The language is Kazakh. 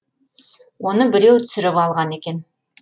оны біреу түсіріп алған екен